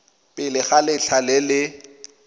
pele ga letlha le le